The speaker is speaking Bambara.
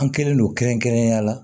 An kɛlen don kɛrɛnkɛrɛnnenya la